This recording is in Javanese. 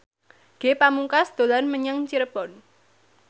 Ge Pamungkas dolan menyang Cirebon